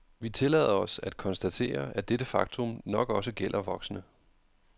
Vi tillader os at konstatere, at dette faktum nok også gælder voksne.